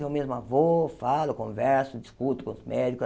Eu mesma vou, falo, converso, discuto com os médicos.